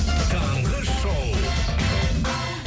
таңғы шоу